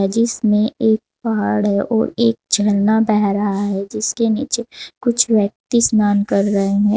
जिसमें एक पहाड़ है और एक झरना बह रहा है जिसके नीचे कुछ व्यक्ति स्नान कर रहे हैं।